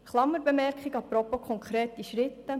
Eine Klammerbemerkung apropos konkrete Schritte: